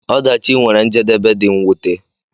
Ọdachi nwere njedebe dị mwute.